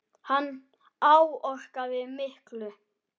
Hann áorkaði miklu.